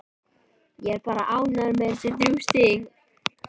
Ég er bara ánægð með þessi þrjú stig.